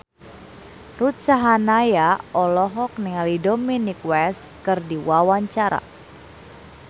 Ruth Sahanaya olohok ningali Dominic West keur diwawancara